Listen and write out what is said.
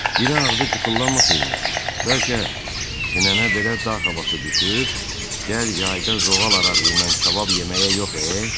Dil ağzı qıfıllanmasaymış, bəlkə sinənə belə dağ havası düşüb gəl yayda zoğal arağıyla kabab yeməyə yox e.